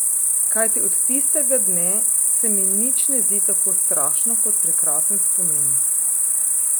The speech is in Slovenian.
Kajti od tistega dne se mi nič ne zdi tako strašno kot prekrasen spomin.